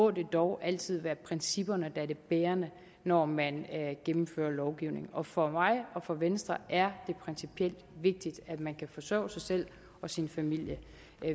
at det dog altid må være principperne der er det bærende når man gennemfører lovgivning og for mig og for venstre er det principielt vigtigt at man kan forsørge sig selv og sin familie